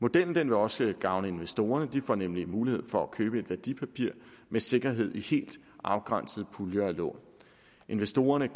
modellen vil også gavne investorerne de får nemlig mulighed for at købe et værdipapir med sikkerhed i helt afgrænsede puljer af lån investorerne